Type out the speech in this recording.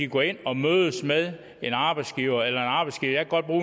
gå derind og mødes med en arbejdsgiver eller